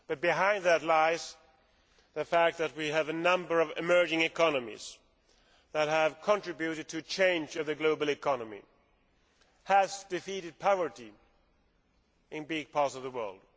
But, behind that, lies the fact that we have a number of emerging economies that have contributed to changing the global economy and have defeated poverty in large areas of the world.